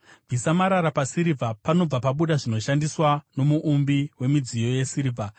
Bvisa marara pasirivha, panobva pabuda zvinoshandiswa nomuumbi wemidziyo yesirivha;